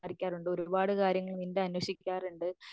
സംസാരിക്കാറുണ്ട് ഒരുപാട് കാര്യങ്ങൾ നിൻറെ അന്വേഷിക്കാറുണ്ട്